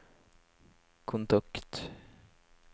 kontakt